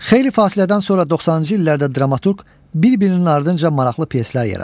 Xeyli fasilədən sonra 90-cı illərdə dramaturq bir-birinin ardınca maraqlı pyeslər yaradır.